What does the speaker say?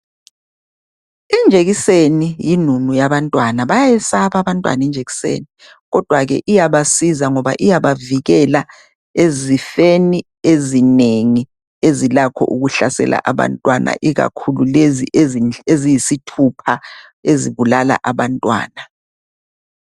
Injekiseni yinunu yabantwana bayayesaba abantwana injekiseni kodwa ke iyabasiza ngoba iyabavikela ezifeni ezinengi ezilakho ukuhlasela abantwana ikakhulu lezi eziyisithupha ezibulala abantwana .